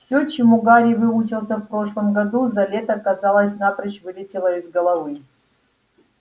всё чему гарри выучился в прошлом году за лето казалось напрочь вылетело из головы